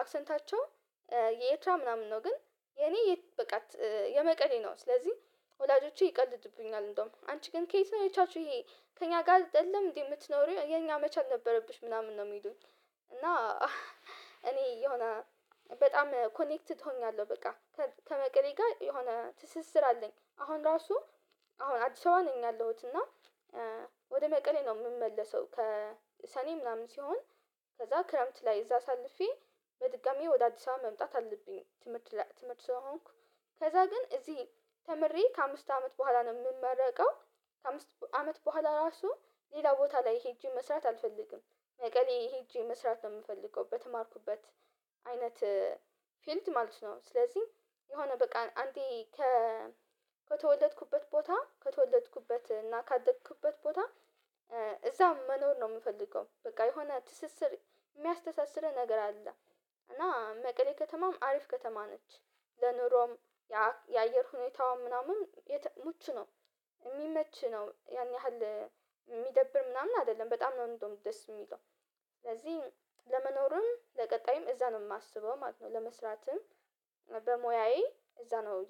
አክሰንታቸው የኤርትራ ምናምን ነው ግን የኔ የ በቃ የመቀሌ ነው፤ ስለዚህ ወላጆቼ ይቀልዱብኛል እንደውም አንቺ ግን ከየት ነው የቻልሽው ይሄ ከእኛ ጋር አደለም እንዴ የምትኖሪው የኛ መቻል ነበረብሽ ምናምን ነው የሚሉኝ፤ እና እኔ የሆነ በጣም ኮኔክትድ ሆኛለሁ በቃ ከመቀሌ ጋር የሆነ ትስስር አለኝ። አሁን ራሱ አሁን አዲስ አበባ ነኝ ያለሁት፤ እና ወደ መቀሌ ነው የምመለሰው ከሰኔ ምናምን ሲሆን ከዛ ክረምት ላይ እዛ አሳልፌ በድጋሚ ወደ አዲስ አበባ መምጣት አለብኝ ትምህርት ለ ትምህርት ስለሆንኩ ከዛ ግን እዚህ ተምሬ ከአምስት አመት በኋላ ነው የምመረቀው። ከአምስት አመት በኋላ ራሱ ሌላ ቦታ ላይ ሄጄ መስራት አልፈልግም። መቀሌ ሄጄ መስራት ነው የምፈልገው በተማርኩበት አይነት ፊልድ ማለት ነው። ስለዚህ የሆነ በቃ አንዴ ከተወለድኩበት ቦታ ከተወለድኩበት እና ካደግኩበት ቦታ እዛ መኖር ነው የምፈልገው። በቃ የሆነ ትስስር የሚያስተሳስርህ ነገር አለ። እና መቀሌ ከተማም አሪፍ ከተማ ነች። ለኑሮም፣ የአየር ሁኔታዋም ምናምን የተ ምቹ ነው የሚመች ነው፤ ያን ያህል የሚደብር ምናምን አይደለም በጣም ነው እንደውም ደስ የሚለው። ስለዚህ ለመኖርም ለቀጣይም እዛ ነው የማስበው ማለት ነው ለመስራትም በሙያዬ እዛ ነው